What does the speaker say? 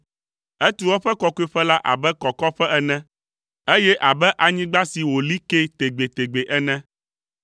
Etu eƒe kɔkɔeƒe la abe kɔkɔƒe ene, eye abe anyigba si wòli kee tegbetegbe ene.